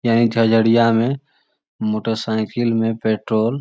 यही झाझड़ियाँ में मोटर साइकिल में पेट्रोल --